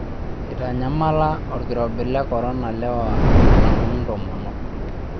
Eitanyamala olkirobi le korona lewa alang'u ntomonok.